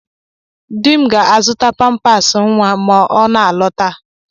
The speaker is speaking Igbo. Di m ga-azụta pampasị nwa ma ọ na-alọta